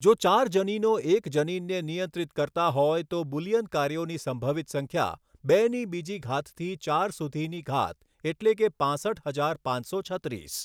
જો ચાર જનીનો એક જનીનને નિયંત્રિત કરતા હોય તો બુલિયન કાર્યોની સંભવિત સંખ્યા બેની બીજી ઘાતથી ચાર સુધીની ઘાત એટલે કે પાંસઠ હજાર પાંચસો છત્રીસ.